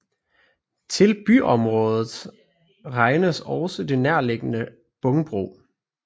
Til byområdet regnes også det nærliggende Bångbro